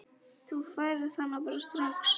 Þú færð hana bara strax.